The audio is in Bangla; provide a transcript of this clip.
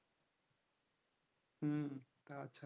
হম